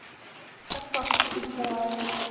Er þetta satt, sýslumaður?